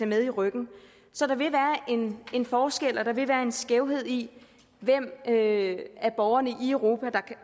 med i ryggen så der vil være en forskel og der vil være en skævhed i hvem af borgerne i europa der